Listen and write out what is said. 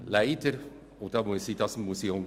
Leider − und das muss